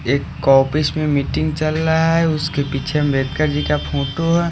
एक ऑफिस में मीटिंग चल रहा है उसके पीछे अंबेडकर जी का फोटो है.